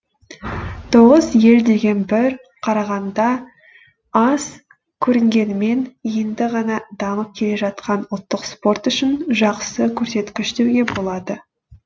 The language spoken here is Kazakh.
тоғыз ел деген бір қарағанда аз көрінгенімен енді ғана дамып келе жатқан ұлттық спорт үшін жақсы көрсеткіш деуге болады